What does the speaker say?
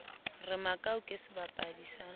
re makau ke sebapadi sa